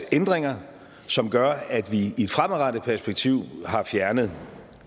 ændringer som gør at vi i et fremadrettet perspektiv har fjernet